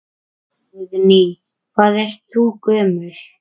Guðný: Hvað ert þú gömul?